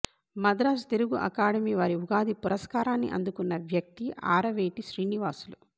Madras Telugu academy వారి ఉగాది పురస్కారాన్ని అందుకున్న వ్యక్తీ ఆరవేటి శ్రీనివాసులు